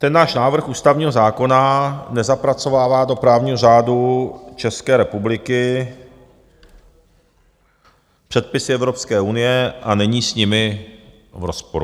Ten náš návrh ústavního zákona nezapracovává do právního řádu České republiky předpisy Evropské unie a není s nimi v rozporu.